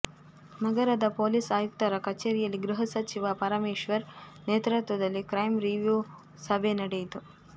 ನಗರದ ಪೊಲೀಸ್ ಆಯುಕ್ತರ ಕಚೇರಿಯಲ್ಲಿ ಗೃಹ ಸಚಿವ ಪರಮೇಶ್ವರ್ ನೇತೃತ್ವದಲ್ಲಿ ಕ್ರೈಂ ರಿವ್ಯೂ ಸಭೆ ನಡೆಯಿತು